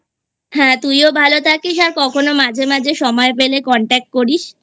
হ্যাঁ তুই ভালো থাকিস আর কখনো মাঝে মাঝে সময় পেলে Contact করিস